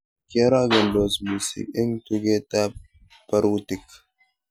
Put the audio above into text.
kiorokendos mising eng tugetab barutik